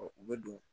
u bɛ don